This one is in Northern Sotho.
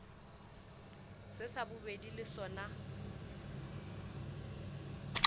se sa bobedi le sona